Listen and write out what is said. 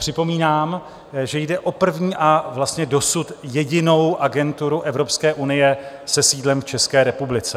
Připomínám, že jde o první a vlastně dosud jedinou agenturu Evropské unie se sídlem v České republice.